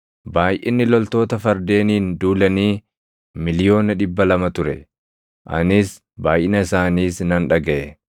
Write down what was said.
Baayʼinni loltoota fardeeniin duulanii miliyoona dhibba lama ture. Anis baayʼina isaaniis nan dhagaʼe.